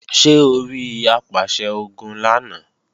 Ṣé orí Apàṣẹ-Ogun lánàá?